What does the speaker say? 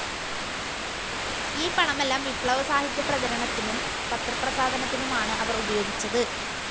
ഈ പണമെല്ലാം വിപ്ലവ സാഹിത്യ പ്രചാരണത്തിനും പത്രപ്രസാധനത്തിനുമാണ് അവർ ഉപയോഗിച്ചത്.